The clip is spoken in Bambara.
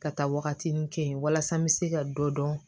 Ka taa wagatinin kɛ yen walasa n bɛ se ka dɔ dɔn